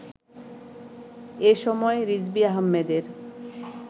এসময়, রিজভী আহমেদের